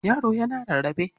Yaro yana rarrae.